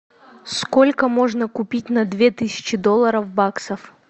сколько можно купить на две тысячи долларов баксов